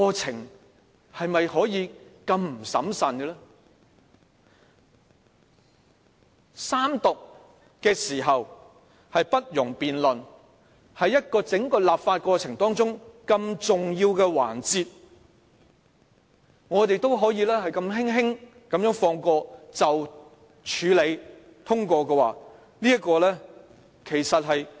在法案三讀時不容辯論方面，法案三讀是整個立法過程中很重要的環節，我們也可以輕輕放過，如這樣處理通過，是非常離譜的做法。